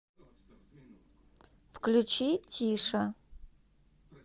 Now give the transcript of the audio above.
включи тиша